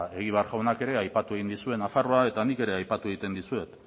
egibar jaunak ere aipatu egin dizue nafarroa eta nik ere aipatu egiten dizuet